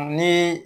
Ni